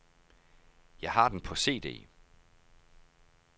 Jeg har den på CD.